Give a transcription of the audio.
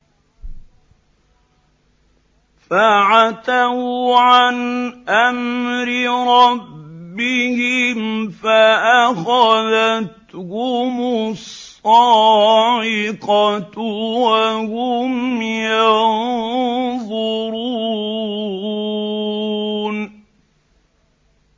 فَعَتَوْا عَنْ أَمْرِ رَبِّهِمْ فَأَخَذَتْهُمُ الصَّاعِقَةُ وَهُمْ يَنظُرُونَ